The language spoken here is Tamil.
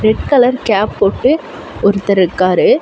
ரெட் கலர் கேப் போட்டு ஒருத்தர் இருக்காரு.